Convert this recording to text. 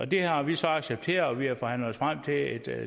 det har vi så accepteret og vi har forhandlet os frem til et